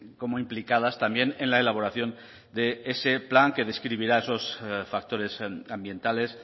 como implicadas también en la elaboración de ese plan que describirá esos factores ambientales